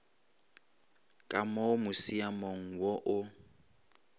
ka mo musiamong wo o